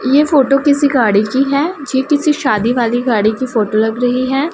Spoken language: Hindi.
ये फोटो किसी गाड़ी की है ये किसी शादी वाली गाड़ी की फोटो लग रही है।